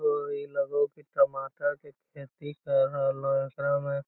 ओ ई लगो हो की टमाटर के खेती कर रहलो हे एकरा में।